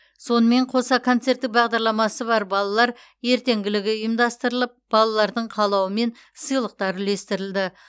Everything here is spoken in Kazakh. сонымен қоса концерттік бағдарламасы бар балалар ертеңгілігі ұйымдастырылып балалардың қалауымен сыйлықтар үлестірілді